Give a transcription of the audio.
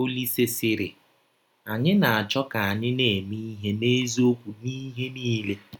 Ọlise sịrị: “ Anyị na - achọ ka anyị na - eme ihe n’eziọkwụ n’ihe niile. ”